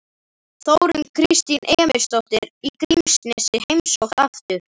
Þórunn Kristín Emilsdóttir í Grímsnesi heimsótt aftur